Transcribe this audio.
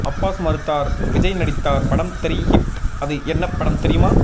Abbas மறுத்தார் விஜய் நடித்தார் படம் தெறி ஹிட் அது என்ன படம் தெரியுமா